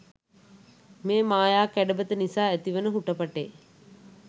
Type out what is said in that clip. මේ මායා කැඩපත නිසා ඇතිවෙන හුටපටේ